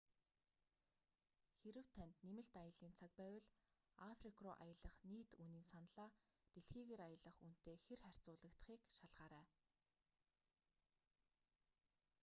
хэрэв танд нэмэлт аяллын цаг байвал африк руу аялах нийт үнийн саналаа дэлхийгээр аялах үнэтэй хир харьцуулагдахыг шалгаарай